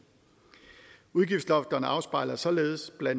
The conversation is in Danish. udgiftslofterne afspejler således bla